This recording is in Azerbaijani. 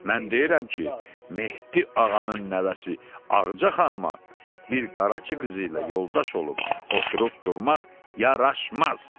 Mən deyirəm ki, Mehdi ağanın nəvəsi Ağca xanıma bir qaraçı qızı ilə yoldaş olub oturub durmaq yaraşmaz.